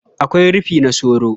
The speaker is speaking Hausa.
Akwai rufi na soro.